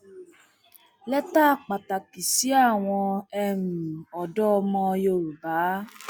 lẹtà pàtàkì sí àwọn um ọdọ ọmọ yorùbá